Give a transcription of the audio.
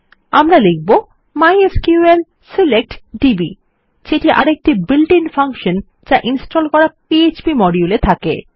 আমরা লিখব MySQL select DB যেটি আরেকটি built আইএন ফাঙ্কশন যা ইনস্টল করা পিএচপি মডিউল এ থাকে